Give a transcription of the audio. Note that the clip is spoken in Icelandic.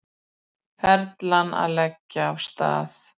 Perlan að leggja af stað